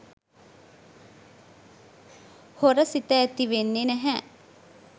හොර සිත ඇතිවෙන්නේ නැහැ.